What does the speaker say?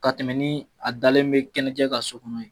Ka tɛmɛn ni a dalen mɛ kɛnɛjɛ kan so kɔnɔ ye